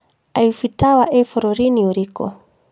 Iffle Tower ĩ bũrũri-inũ ũrĩkũ